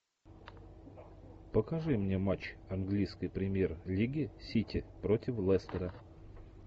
покажи мне матч английской премьер лиги сити против лестера